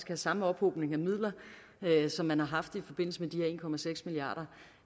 den samme ophobning af midler som man har haft i forbindelse med de